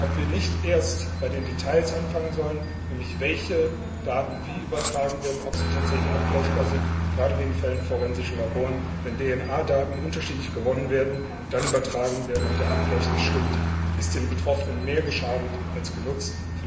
ob wir nicht erst bei den Details anfangen sollen, nämlich welche Daten wie übertragen werden, ob sie tatsächlich abgleichbar sind, gerade in Fällen von forensischen Laboren. Wenn DNA Daten unterschiedlich gewonnen und dann übertragen werden und der Abgleich nicht stimmt, ist den Betroffenen mehr geschadet als genutzt.